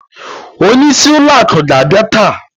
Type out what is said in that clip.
Onye isi ụlọ akụ ga abia taa.